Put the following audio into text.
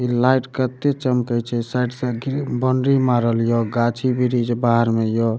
ई light कते चमकई छई साइड से ग्रिल बाउंड्री मारल हिओ गाछी वृक्ष बाहर मे हियो।